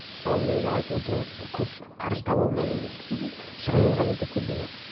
мысалы мен жаңа айтып отырмын көп қаржы таба алмадым деп шығынымды ғана өтеп келдім де